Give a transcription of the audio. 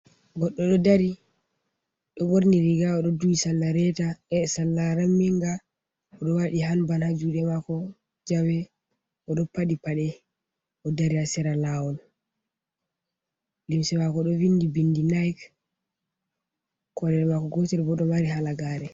Goɗɗo ɗo dari, ɗo borni riga oɗo duhi sarla reta sarla ramminga, oɗo waɗi hanban ha juuɗe maako jawee, oɗo paɗi paɗe o dari ha sera laawol, limse maako ɗo vindi bindi naik, kolel maako gootel bo ɗo mari halagare.